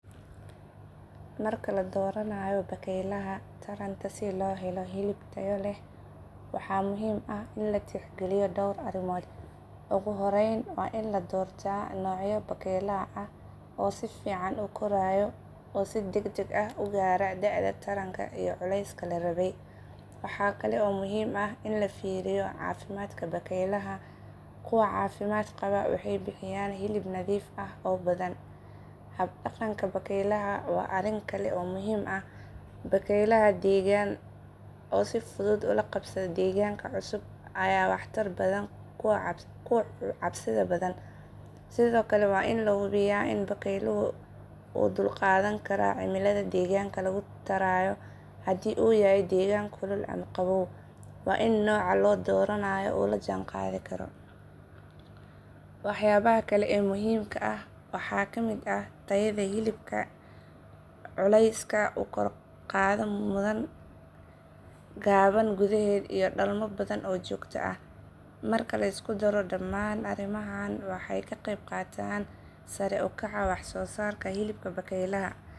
Marka la dooranayo bakeylaha taranta si loo helo hilib taya leh waxa muhiim ah in la tix geliyo door arimood, ogu horeyn waa in la doorta nocyada bakeylaha oo si fican ukorayo oo si degdeg ah u gaaro da'ada taranka iyo culeyska larabay, waxakale oo muhiim ah in lafiiriyo caafimaadka bakeylaha, kuwa caafimaadka qaba waxay bixiyaan hilib nadiif ah oo badan, hab dhaqanka bakeylaha waa arin kale oo muhiim ah, bakeylaha deeggan oo si fudud ola qabsade, deegganka cusub aya wax tar badan kuwa cabsi badan, sidokale waa in la hubiya in bakeyluhu uu udul qadan kara cimilada deegganka lagu tarayo hadii uyahay deegan kulul ama qabow wa in nooca loo doranayo uu la jan qaadi karo. wax yabaha kale ee muhiimka ah waxaa kamid ah tayada hilibka, culeyska ukor qaada mudan, gaban gudaheeda iyo dhalmo badan, marka lisku daro dhamaan arimahan waxay kaqeb qataan sarey ukaca wax soo sarka hilibka bakeylaha